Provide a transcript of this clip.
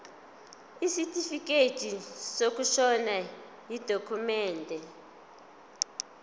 isitifikedi sokushona yidokhumende